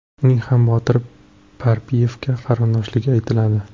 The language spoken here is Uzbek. Uning ham Botir Parpiyevga qarindoshligi aytiladi.